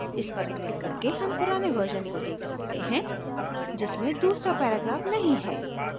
इस पर क्लिक करके हम पुराने version को देख सकते हैं जिसमें दूसरा paragraph नहीं है